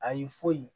A y'i foyi